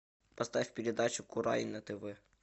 поставь передачу курай на тв